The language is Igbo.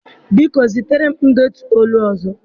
Biko, zitere m ndetu olu ọzọ.